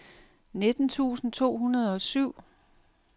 nitten tusind to hundrede og syv